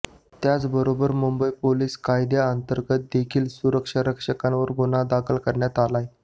त्याचबरोबर मुंबई पोलीस कायद्याअंतर्गत देखील सुरक्षारक्षकांवर गुन्हा दाखल करण्यात आलाय